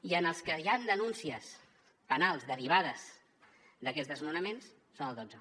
i en els que hi ha denuncies penals derivades d’aquests desnonaments són el dotze